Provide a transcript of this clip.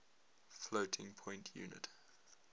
floating point unit